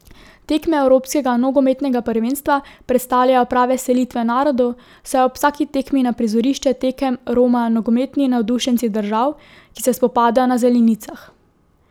Tekme evropskega nogometnega prvenstva predstavljajo prave selitve narodov, saj ob vsaki tekmi na prizorišče tekem romajo nogometni navdušenci držav, ki se spopadajo na zelenicah.